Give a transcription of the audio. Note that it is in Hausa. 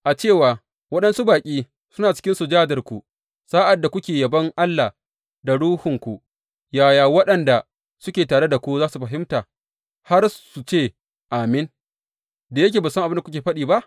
A cewa waɗansu baƙi suna cikin sujadarku, sa’ad da kuke yabon Allah da ruhunku, yaya waɗanda suke tare ku za su fahimta, har su ce, Amin, da yake ba su san abin da kuke faɗi ba?